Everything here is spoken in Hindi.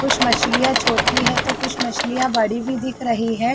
कुछ मछलिया छोटी है तो कुछ मछलिया बड़ी भी दिख रही है।